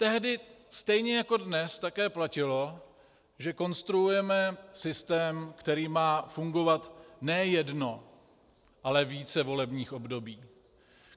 Tehdy stejně jako dnes také platilo, že konstruujeme systém, který má fungovat ne jedno, ale více volebních období.